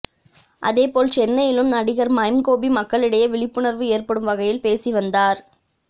அதேபோல் சென்னையிலும் நடிகர் மைம் கோபி மக்களிடையே விழிப்புணர்வு ஏற்படும் வகையில் பேசி வந்தார்